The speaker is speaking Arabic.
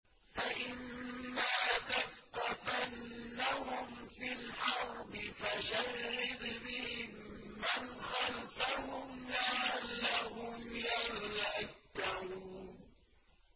فَإِمَّا تَثْقَفَنَّهُمْ فِي الْحَرْبِ فَشَرِّدْ بِهِم مَّنْ خَلْفَهُمْ لَعَلَّهُمْ يَذَّكَّرُونَ